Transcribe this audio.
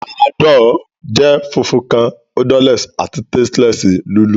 Panadol jẹ funfun kan, odorless, ati tasteless lulú.